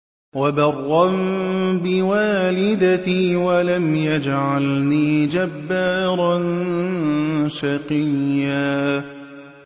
وَبَرًّا بِوَالِدَتِي وَلَمْ يَجْعَلْنِي جَبَّارًا شَقِيًّا